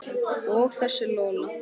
Og þessi Lola.